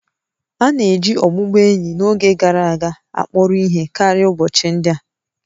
A na-eji ọbụbụenyi n'oge gara aga akpọrọ ihe karịa ụbọchị ndị a